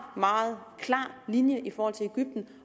meget klar linje i forhold til egypten